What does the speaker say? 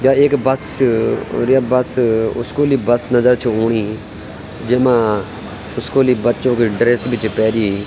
या एक बस च ओर य बस स्कूली बस नजर छू औणी जेमा स्कूली बच्चो की ड्रेस भी च पेरीं।